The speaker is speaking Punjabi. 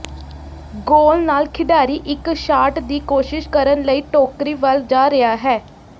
ਗੋਲ ਨਾਲ ਖਿਡਾਰੀ ਇੱਕ ਸ਼ਾਟ ਦੀ ਕੋਸ਼ਿਸ਼ ਕਰਨ ਲਈ ਟੋਕਰੀ ਵੱਲ ਜਾ ਰਿਹਾ ਹੈ